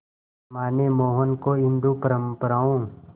मां ने मोहन को हिंदू परंपराओं